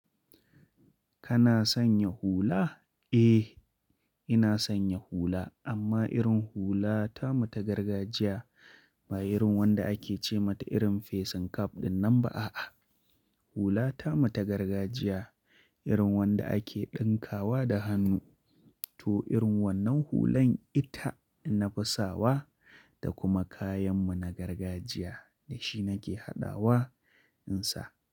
Kana sanya hula? Eh, ina sanya hula, amma irin hula tamu ta gargajiya, ba irin wanda ake ce mata irin facing cap dinnan ba a'a. Hula ta mu ta gargajiya, irin wanda ake dinkawa da hannu, to irin wannan hulan ita na fi sawa, da kuma kayan mu na gargajiya, da shi nake haɗawa in sa.